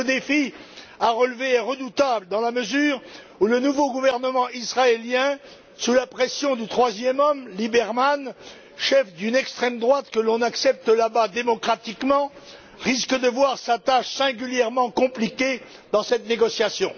Mais le défi à relever est redoutable, dans la mesure où le nouveau gouvernement israélien, sous la pression du troisième homme, Liebermann, chef d'une extrême droite qu'on accepte là bas démocratiquement, risque de voir sa tâche singulièrement compliquée dans cette négociation.